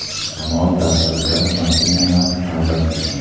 Shamol ta’sirida mashinalar ag‘darilgan.